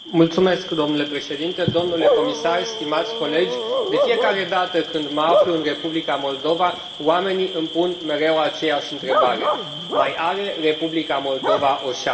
Domnule președinte, domnule comisar, stimați colegi, de fiecare dată când mă aflu în Republica Moldova oamenii îmi pun mereu aceeași întrebare mai are Republica Moldova o șansă?